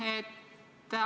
Aitäh!